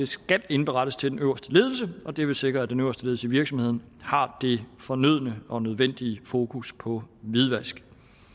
skal indberettes til den øverste ledelse og det vil sikre at den øverste ledelse af virksomheden har det fornødne og nødvendige fokus på hvidvask